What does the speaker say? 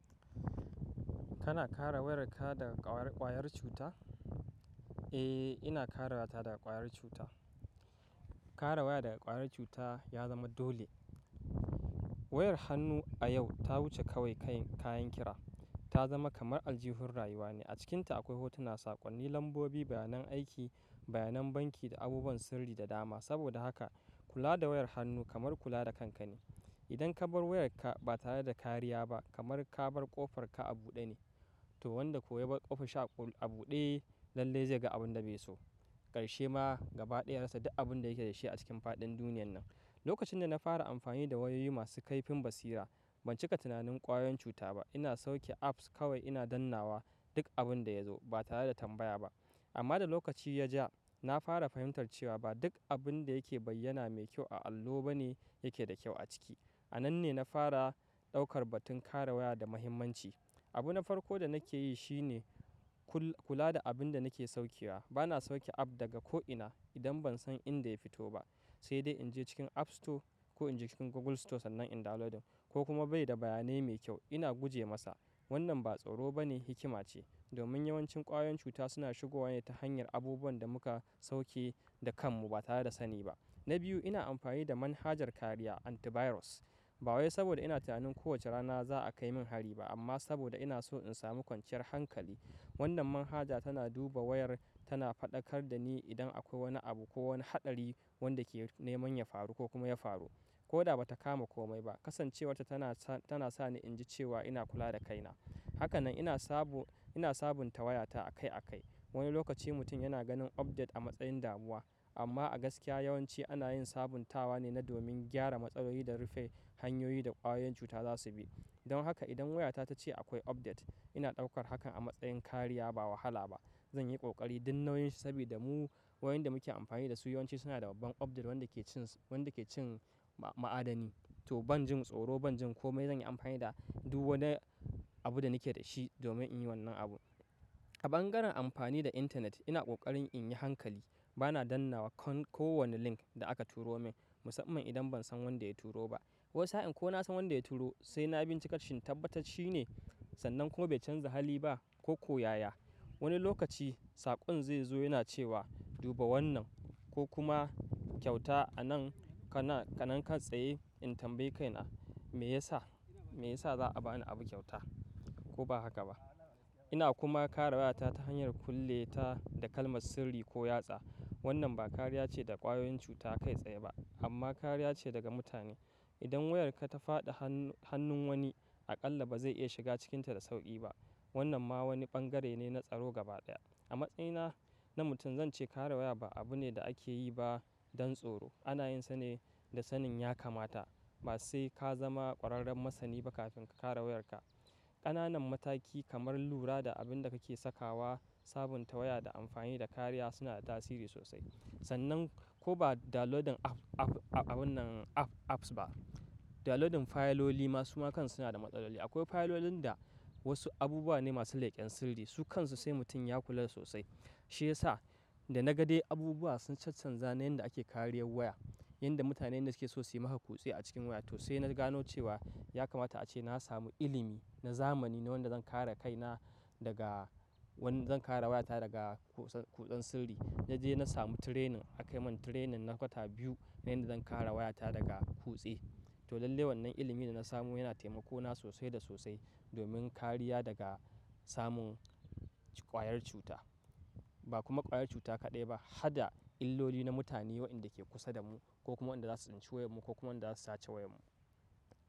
Kana kare wayarka daga ƙwayar cuta? Eh, ina kare wayata daga ƙwayar cuta. Kare waya daga ƙwayar cuta ya zama dole. Wayar hannu a yau ta wuce kawai kayan kira. Ta zama kamar aljihun rayuwa ne. A cikinta akwai hotuna, saƙonni, lambobi, bayanan aiki, bayanan banki da abubuwan sirri da dama. Saboda haka, kula da wayar hannu kamar kula da kanka ne. Idan ka bar wayarka ba tare da kariya ba, kamar ka bar ƙofarka a buɗe ne. To wanda ko ya bar ƙofar shi a buɗe lallai zai ga abin da bai so. Ƙarshe ma gabaɗaya yarasa duk abin da yake da shi a cikin faɗin duniyan nan. Lokacin da na fara amfani da wayoyi masu kaifin basira, ban cika tunanin ƙwayoyin cuta ba. Ina sauke apps kawai ina dannawa duk abin da ya zo ba tare da tambaya ba. Amma da lokaci ya ja, na fara fahimtar cewa ba duk abin da yake bayyana mai kyau a allo ba ne yake da kyau a ciki. A nan ne na fara ɗaukar batun kare waya da muhimmanci. Abu na farko da nake yi shi ne kula da abin da nake saukewa. Ba na sauke app daga ko ina idan ban san inda ya fito ba, sai dai in je cikin App Store ko in je cikin Google Store sannan in downloading ko kuma bai da bayanai mai kyau ina guje masa. Wannan ba tsoro ba ne, hikima ce. Domin yawancin ƙwayoyin cuta suna shigowa ne ta hanyar abubuwan da muka sauke da kanmu ba tare da sani ba. Na biyu, ina amfani da manhajar kariya antivirus. Ba wai saboda ina tunanin kowace rana za a kai min hari ba, amma saboda ina so in samu kwanciyar hankali. Wannan manhaja tana duba wayar tana faɗakar da ni idan akwai wani abu ko wani haɗari wanda ke neman ya faru ko kuma ya faru. Ko da ba ta kama komai ba, kasancewarta tana sa ni in ji cewa ina kula da kaina. Haka nan ina sabunta wayata akai akai. Wani lokaci mutum yana ganin update a matsayin damuwa, amma a gaskiya yawanci ana yin sabuntawa ne na domin gyara matsaloli da rufe hanyoyi da ƙwayoyin cuta za su bi. Don haka idan wayata ta ce akwai update, ina ɗaukar hakan a matsayin kariya ba wahala ba. Zan yi ƙoƙari duk nauyin shi sabodamu wayoyin da muke amfani da su yawanci suna da babban update wanda ke cin ma'adani. To ban jin tsoro ban jin komai zan yi amfani da duk wani abu da nake da shi domin in yi wannan abu. A bangaren amfani da intanet ina ƙoƙarin in yi hankali. Ba na dannawa kan kowane link da aka turo min musamman idan ban san wanda ya turo ba. Wasu sa'in ko na san wanda ya turo sai na bincika shin tabbatat shine sannan kuma bai canza hali ba ko ko yaya. Wani lokaci saƙon zai zo yana cewa duba wannan ko kuma kyauta anan ka nan ka tsaye in tambayi kaina me yasa za a ba ni abu kyauta ko ba haka ba. Ina kuma kare wayata ta hanyar kulle ta da kalmar sirri ko yatsa. Wannan ba kariya ce daga ƙwayoyin cuta kai tsaye ba amma kariya ce daga mutane. Idan wayarka ta faɗi hannun wani aƙalla ba zai iya shiga cikinta da sauƙi ba. Wannan ma wani bangare ne na tsaro gabaɗaya. A matsayina na mutum zance kare waya ba abu ne da ake yi ba don tsoro. Ana yin sane da sanin ya kamata ba sai ka zama ƙwararren masani ba kafin ka kare wayarka. Ƙananan mataki kamar lura da abin da kake sakawa, sabunta waya da amfani da kariya suna da tasiri sosai. Sannan ko ba downloading abunnan apps ba. Downloading fayiloli ma suma kan suna da matsaloli. Akwai fayilolin da wasu abubuwa ne masu leƙen sirri su kansu sai mutum ya kula sosai. Shi ya sa da na ga dai abubuwa sun can canza na yanda ake kariyar waya, yanda mutane inda ke so su yi maka kutse a cikin waya to sai na gano cewa ya kamata ace na samu ilimi na zamani na wanda zan kare kaina daga wanda zan kare wayata daga kutsan kutsan sirri. Na je na samu training aka yi min training na kwata biyu na yanda zan kare wayata daga kutse. To lallai wannan ilimin da na samo yana temako na sosai da sosai domin kariya daga samun ƙwayar cuta. Ba kuma ƙwayar cuta kaɗai ba, hada illoli na mutane wa'enda ke kusa da mu ko kuma wanda za su tsinci wayar mu ko kuma wanda za su sace wayar mu.